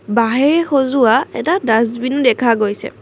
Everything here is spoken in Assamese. বাঁহেৰে সজোৱা এটা দাষ্টবিন দেখা গৈছে।